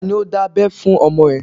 Tani ó dábẹ́ fún ọmọ ẹ?